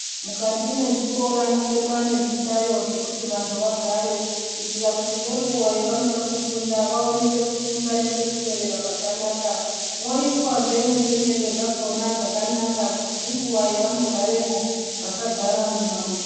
Mukati mwezvikora mwobekwa nezvihlayo zvekuita kuti vantu vagare, kuitira kuti ngenguwa yevanoda kufunda vaone pekufunda nepekunyorera pakanaka. Moiswazve nesimende dzakanaka kuti nenguva dzavanogaremo vasagare mune mabukuta.